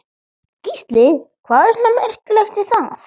Gísli: Hvað er svona merkilegt við það?